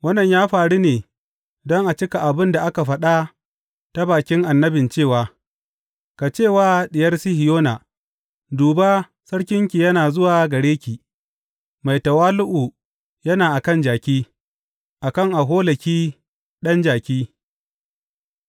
Wannan ya faru ne don a cika abin da aka faɗa ta bakin annabin cewa, Ku ce wa Diyar Sihiyona, Duba, sarkinki yana zuwa gare ki, mai tawali’u yana a kan jaki, a kan aholaki, ɗan jaki.’